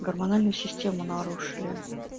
гормональную систему нарушили